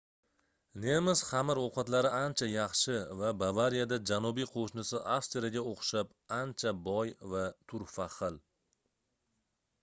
nemis xamir ovqatlari ancha yaxshi va bavariyada janubiy qoʻshnisi avstriyaga oʻxshab ancha boy va turfa xil